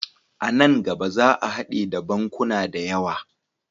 A nan gaba za a hade da bankuna da yawa.